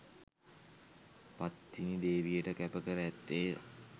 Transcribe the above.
පත්තිනි දේවියට කැප කර ඇත්තේය